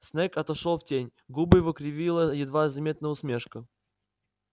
снегг отошёл в тень губы его кривила едва заметная усмешка